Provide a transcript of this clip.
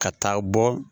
Ka taa bɔ